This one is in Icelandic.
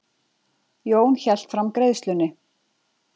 Jón hélt fram greiðslunni.